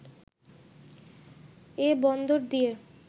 এ বন্দর দিয়ে